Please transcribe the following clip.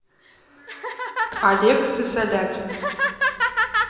олег сысолятин